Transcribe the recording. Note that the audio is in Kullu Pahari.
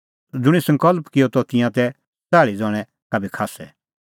ज़ुंणी सकल़्प किअ त तिंयां तै च़ाल़्ही ज़ण्हैं का बी खास्सै